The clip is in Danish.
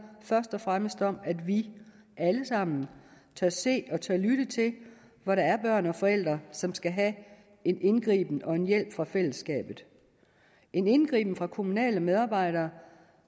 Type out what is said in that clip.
først og fremmest om at vi alle sammen tør se og tør lytte til hvor der er børn og forældre som skal have en indgriben og en hjælp fra fællesskabet en indgriben fra kommunale medarbejdere